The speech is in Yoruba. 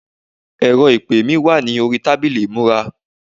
ẹrọ ìpè mi wà ní orí tábìlì ìmúra